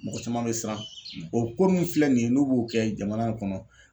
Mɔgɔ caman bɛ siran o ko ninnu filɛ nin ye n'u b'o kɛ jamana in kɔnɔ.